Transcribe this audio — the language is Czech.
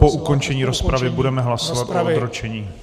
Po ukončení rozpravy budeme hlasovat o odročení.